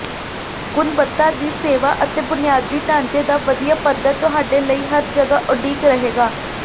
ਗੁਣਵੱਤਾ ਦੀ ਸੇਵਾ ਅਤੇ ਬੁਨਿਆਦੀ ਢਾਂਚੇ ਦਾ ਵਧੀਆ ਪੱਧਰ ਤੁਹਾਡੇ ਲਈ ਹਰ ਜਗ੍ਹਾ ਉਡੀਕ ਰਹੇਗਾ